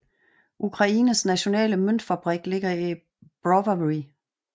Ukraines nationale møntfabrik ligger i Brovary